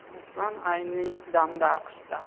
Ruslan ayni damda AQShda.